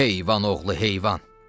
Heyvan oğlu heyvan!